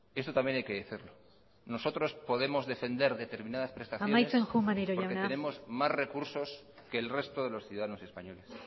eso también hay que decirlo nosotros podemos defender determinadas prestaciones amaitzen joan maneiro jauna porque tenemos más recursos que el resto de los ciudadanos españoles